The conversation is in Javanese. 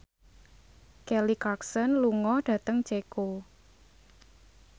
Kelly Clarkson lunga dhateng Ceko